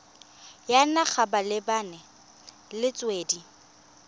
ya naga malebana le metswedi